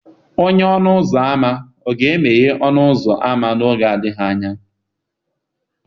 Onye ọnụ ụzọ ámá ọ ga-emeghe ọnụ ụzọ ámá n'oge adịghị anya?